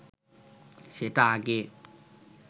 সেটা আগে